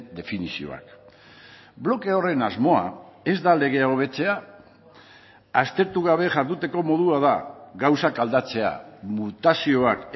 definizioak bloke horren asmoa ez da legea hobetzea aztertu gabe jarduteko modua da gauzak aldatzea mutazioak